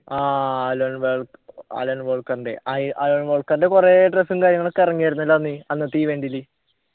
ആഹ് Alan വാ Alan വോൾക്കറിൻ്റെ അയി അലൻ വോൾക്കറിൻ്റെ കൊറേ dress ഉം കാര്യങ്ങളൊക്കെ ഇറങ്ങിയായിരുന്നല്ലൊ അന്ന് അന്നത്തെ event ല്